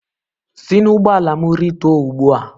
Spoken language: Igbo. Si n'ụgbọala m rịtuo ugbu a.!